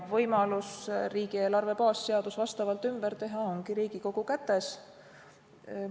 Võimalus riigieelarve baasseadus vastavalt ümber teha ongi Riigikogu kätes.